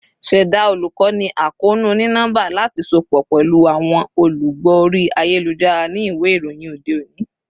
Ṣẹda olukoni akoonu oni-nọmba lati sopọ pẹlu awọn olugbo ori ayelujara ni iwe iroyin ode oni